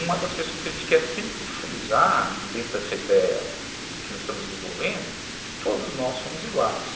Uma das questões que a gente quer sempre frisar dentro dessa ideia que nós estamos desenvolvendo é que todos nós somos iguais.